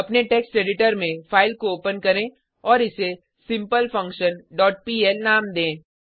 अपने text editor में file को ओपन करें और इसे सिम्पलफंक्शन डॉट पीएल नाम दें